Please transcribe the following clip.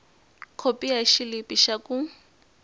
khopi ya xilipi xa ku